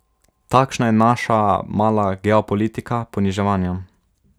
Takšna je naša mala geopolitika poniževanja.